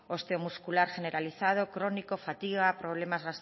osteomuscular generalizado crónico fatiga problemas